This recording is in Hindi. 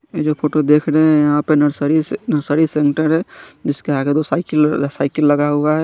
ये जो फोटो देख रहे है यहाँ पर नसरी-नर्सरी सेंटर है जिस के आगे साइकिलों-साइकिल लगा हुआ है।